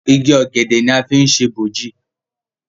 Ìgi ògèdè ní a fi ṣe boji.